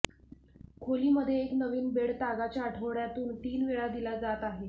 खोली मध्ये एक नवीन बेड तागाचे आठवड्यातून तीन वेळा दिला जात आहे